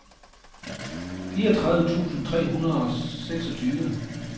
fireogtredive tusind tre hundrede og seksogtyve